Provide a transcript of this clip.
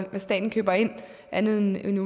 hvad staten køber ind andet end